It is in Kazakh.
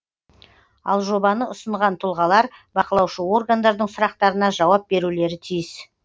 ал жобаны ұсынған тұлғалар бақылаушы органдардың сұрақтарына жауап берулері тиіс